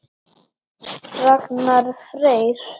Ragnar Freyr.